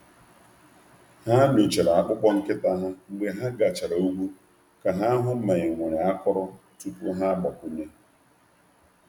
Ha na-enyocha akpụkpọ anụ nkịta ha mgbe ha si njem lọta iji hụ akọrọ tupu ha abanye.